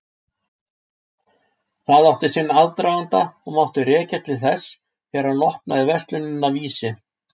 Það átti sinn aðdraganda og mátti rekja til þess þegar hann opnaði verslunina Vísi.